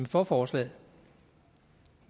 for forslaget